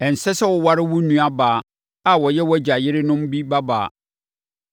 “ ‘Ɛnsɛ sɛ woware wo nuabaa a ɔyɛ wʼagya yerenom bi babaa.